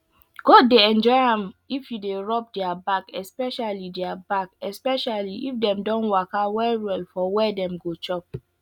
goat dey enjoy am if you dey rub their back especially their back especially if dem don waka well well for where dem go chop